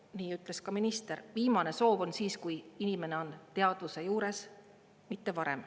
Nii ütles ka minister, viimane soov on siis, kui inimene on teadvuse juures, mitte varem.